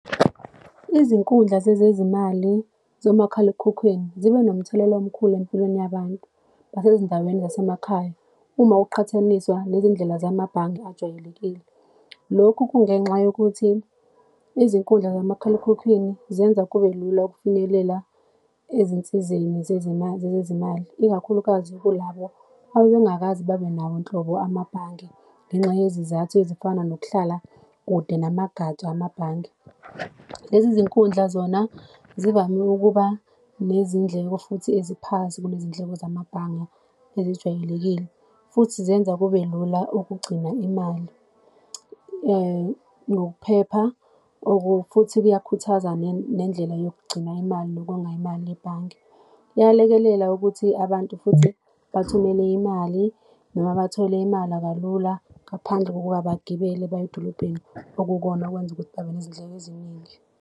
Izinkundla zezezimali zomakhalekhukhwini zibe nomthelela omkhulu empilweni yabantu basezindaweni zasemakhaya uma uqhathaniswa nezindlela zamabhange ajwayelekile. Lokhu kungenxa yokuthi, izinkundla zamakhalekhukhwini zenza kubelula ukufinyelela ezinsizeni zezimali, zezezimali, ikakhulukazi kulabo abengakaze babenawo nhlobo amabhange, ngenxa yezizathu ezifana nokuhlala kude namagatsha amabhange. Lezi zinkundla zona zivame ukuba nezindleko futhi eziphansi kunezindleko zamabhange ezijwayelekile, futhi zenza kube lula okugcina imali ngokuphepha or futhi kuyakhuthaza nendlela yokugcina imali, nokonga imali ebhange. Kuyalekelela ukuthi abantu futhi bathumele imali, noma bathole imala kalula ngaphandle kokuba bagibele baye edolobheni, okuyikona okwenza ukuthi babe nezindleko eziningi.